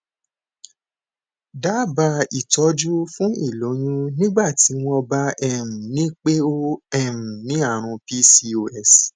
daba itọjú fún iloyun nigbati wọn bá um nipe o um ni àrùn pcos